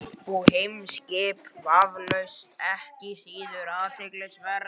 Og heimspekin vafalaust ekki síður athyglisverð.